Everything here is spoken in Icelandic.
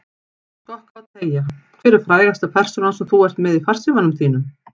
Skokka og teygja Hver er frægasta persónan sem þú ert með í farsímanum þínum?